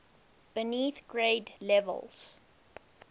beneath grade levels